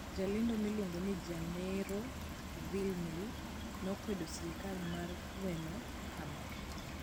Jalendo miluongo ni Jenaro Villamil nokwedo sirkal mar gweng'no kama: